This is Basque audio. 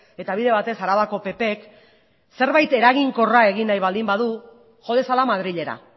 eta bide batez arabako ppk zerbait eraginkorra egin nahi baldin badu jo dezala madrilera